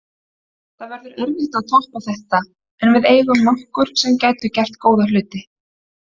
Það verður erfitt að toppa þetta en við eigum nokkur sem gætu gert góða hluti.